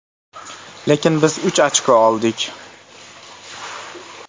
Lekin biz uch ochko oldik.